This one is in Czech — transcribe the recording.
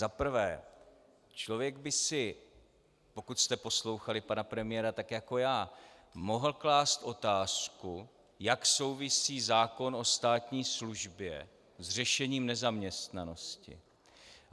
Za prvé, člověk by si - pokud jste poslouchali pana premiéra tak jako já - mohl klást otázku, jak souvisí zákon o státní službě s řešením nezaměstnanosti.